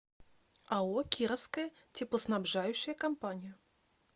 ао кировская теплоснабжающая компания